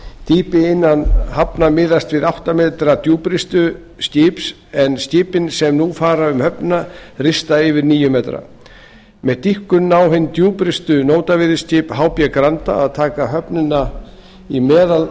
dýpi innan hafna miðast við átta m djúprist skip en skipin sem nú fara um höfnina rista yfir níu m með dýpkun ná hin djúpristu nótaveiðiskip hb granda að taka höfnina í